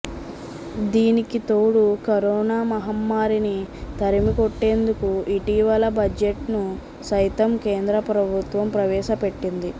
దీనికితోడు corona మహమ్మారిని తరిమికొట్టేందుకు ఇటీవల బడ్జెట్ను సైతం కేంద్ర ప్రభుత్వం ప్రవేశపెట్టింది